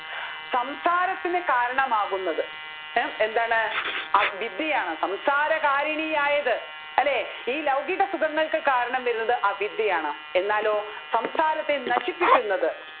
സംസാരത്തിന് കാരണമാകുന്നത് എ എന്താണ് അ വിദ്യയാണ് സംസാരകാരിണിയായത്‌ അല്ലെ ഈ ലൗകിക സുഖങ്ങൾക്ക് കാരണമാകുന്നത് അവിദ്യയാണ്‌ എന്നാലോ സംസാരത്തെ നശിപ്പിക്കുന്നത്